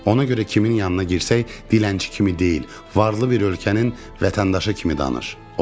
Ona görə kimin yanına girsək dilənçi kimi deyil, varlı bir ölkənin vətəndaşı kimi danış.